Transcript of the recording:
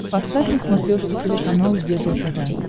поставь на смотрешке телеканал егэ тв